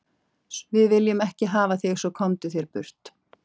Við viljum ekki hafa þig svo, komdu þér burt.